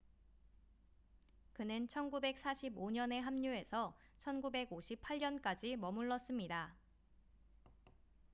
그는 1945년에 합류해서 1958년까지 머물렀습니다